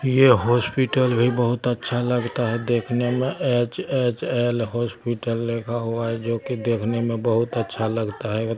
ये हॉस्पिटल भी बहुत अच्छा लगता है देखने मे एच_एच_एल हॉस्पिटल लिखा हुआ है जो के देखने मे बहुत अच्छा लगता है।